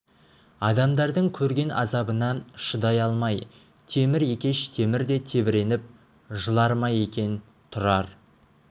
адамдардың көрген азабына шыдай алмай темір екеш темір де тебіреніп жылар ма екен тұрар